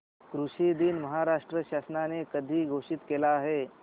कृषि दिन महाराष्ट्र शासनाने कधी घोषित केला आहे